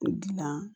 O dilan